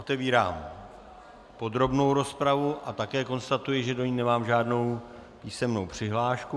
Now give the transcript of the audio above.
Otevírám podrobnou rozprav a také konstatuji, že do ní nemám žádnou písemnou přihlášku.